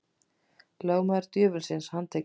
Lögmaður djöfulsins handtekinn